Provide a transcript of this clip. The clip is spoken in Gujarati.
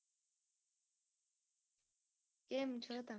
કેમ છો તમે